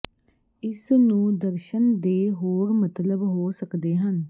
ਇਸ ਨੂੰ ਦਰਸ਼ਨ ਦੇ ਹੋਰ ਮਤਲਬ ਹੋ ਸਕਦੇ ਹਨ